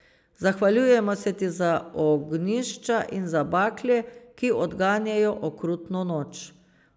Zahvaljujemo se ti za ognjišča in za bakle, ki odganjajo okrutno noč.